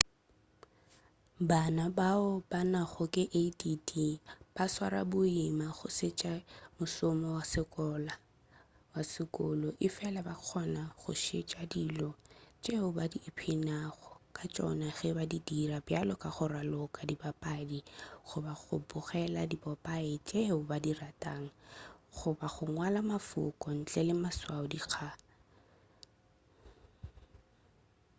bana bao ba nago ke add ba swara boima go šetša mošomo wa sekolo efela ba kgona go šetša dilo tšeo ba ipshinago ka tšona ge ba di dira bjalo ka go raloka dipapadi goba go bogela dipopaye tšeo ba di ratago goba go ngwala mafoko ntle le maswao-dikga